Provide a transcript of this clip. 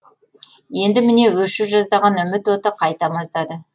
енді міне өше жаздаған үміт оты қайта маздады